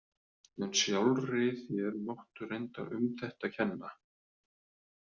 En sjálfri þér máttu reyndar um þetta kenna.